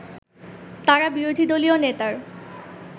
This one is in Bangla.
তারা বিরোধীদলীয় নেতার